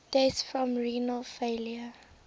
deaths from renal failure